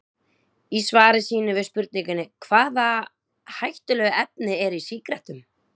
Í svari sínu við spurningunni Hvaða hættulegu efni eru í sígarettum?